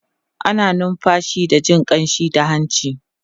ana numfashi da Jin ƙamshi da hanci